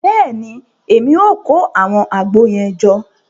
Bẹẹni, Èmí o kó awọn àgbo yẹn jọ